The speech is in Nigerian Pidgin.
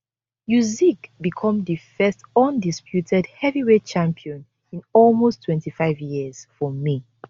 usyk become di first undisputed heavyweight champion in almost 25 years for may